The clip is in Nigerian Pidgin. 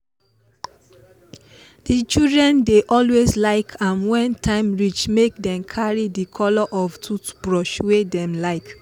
the children dey always like am when time reach make them carry the color of toothbrush wey dem like.